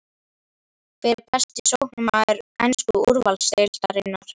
Hver er besti sóknarmaður ensku úrvalsdeildarinnar?